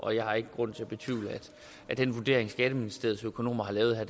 jeg har ikke grund til at betvivle at den vurdering som skatteministeriets økonomer har lavet her